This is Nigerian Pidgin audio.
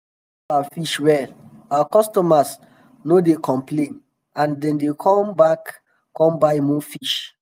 when we handle our fish well our customers no dey complain and dem dey come come back come buy more fish um